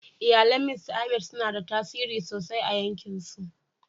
Iyalin Mista Ahmed suna da tasiri sosai a 'yankinsu.